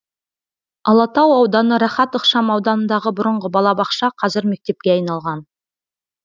алатау ауданы рахат ықшам ауданындағы бұрынғы балабақша қазір мектепке айналған